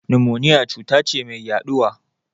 Nimoniya cuta ce mai yaɗuwa.